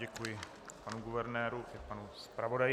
Děkuji panu guvernéru i panu zpravodaji.